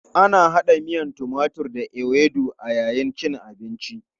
Ana hada miyan timatur da ewedu a yayin cin abinci.